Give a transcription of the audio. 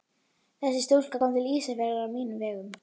Þessi stúlka kom til Ísafjarðar á mínum vegum.